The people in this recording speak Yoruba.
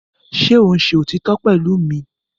Ṣé ò ń ṣe òtítọ́ pẹ̀lú mi?